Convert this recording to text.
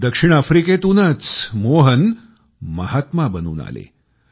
दक्षिण आफ्रिकेतूनचमोहन महात्मा बनून आले